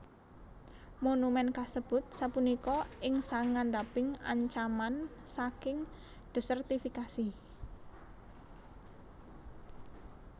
Monumen kasebut sapunika ing sangandhaping ancaman saking desertifikasi